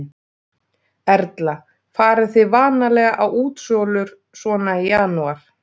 Erla: Farið þið vanalega á útsölur svona í janúar?